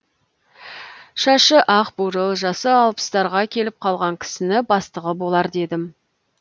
шашы ақ бурыл жасы алпыстарға келіп қалған кісіні бастығы болар дедім